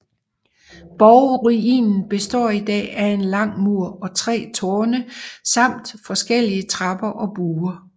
Borgruinen består i dag af en lang mur og tre tårne samt forskellige trapper og buer